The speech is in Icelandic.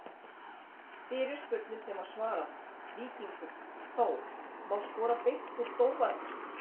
Fyrirspurnir sem var svarað: Víkingur- Þór Má skora beint úr dómarakasti?